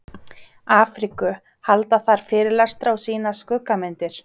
Afríku, halda þar fyrirlestra og sýna skuggamyndir.